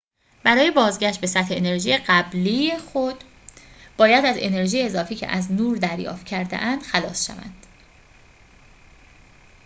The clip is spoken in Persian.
برای بازگشت به سطح انرژی قبلی خود باید از انرژی اضافی که از نور دریافت کرده‌اند خلاص شوند